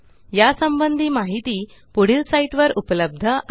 या संबंधी माहिती पुढील साईटवर उपलब्ध आहे